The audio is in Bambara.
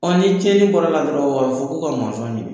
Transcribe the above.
Ɔ ni tiɲɛni bɔr'a la dɔrɔn a bɛ fɔ k'u ka mɔnzɔn ɲini